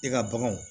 E ka baganw